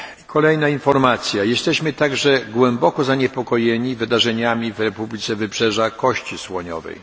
Kolejna informacja jesteśmy także głęboko zaniepokojeni wydarzeniami w Republice Wybrzeża Kości Słoniowej.